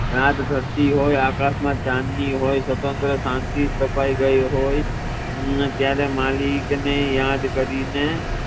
રાત જાગતી હોઈ આકાશ માં ચાંદની હોઈ સમગ્ર શાંતિ છવાઈ ગઈ હોઈ ત્યારે મલિક ને યાદ કરીને